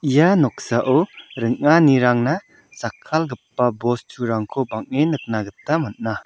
ia noksao ring·anirangna jakkalgipa bosturangko bang·en nikna gita man·a.